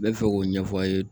Ne bɛ fɛ k'o ɲɛfɔ aw ye